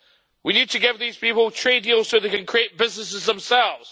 We need to give these people trade deals so that they can create businesses themselves.